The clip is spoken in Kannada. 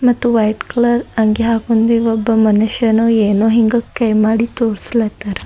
ಮತ್ತು ವೈಟ್ ಕಲರ್ ಅಂಗಿ ಹಾಕೊಂದಿದ ಒಬ್ಬ ಮನುಷ್ಯನು ಏನೋ ಹಿಂಗ ಕೈ ಮಾಡಿ ತೋರಿಸ್ಲಾ ತಾರ.